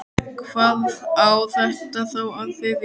Hvað á þetta þá að þýða?